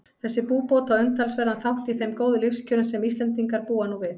Þessi búbót á umtalsverðan þátt í þeim góðu lífskjörum sem Íslendingar búa nú við.